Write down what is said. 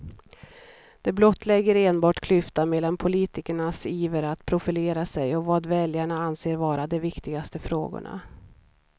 Det blottlägger enbart klyftan mellan politikernas iver att profilera sig och vad väljarna anser vara de viktigaste frågorna.